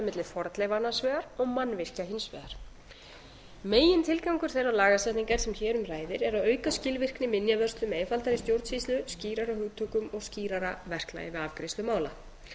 milli fornleifa annars vegar og mannvirkja hins vegar megintilgangur þeirrar lagasetningar sem hér um ræðir er að auka skilvirkni minjavörslu með einfaldari stjórnsýslu skýrari hugtökum og skýrara verklagi við afgreiðslu mála